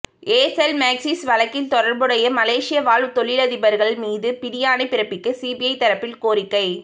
Aircel Maxis வழக்கில் தொடர்புடைய மலேசிய வாழ் தொழிலதிபர்கள் மீது பிடியாணை பிறப்பிக்க சிபிஐ தரப்பில் கோரிக்கை